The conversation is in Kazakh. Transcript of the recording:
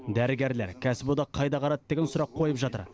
дәрігерлер кәсіподақ қайда қарады деген сұрақ қойып жатыр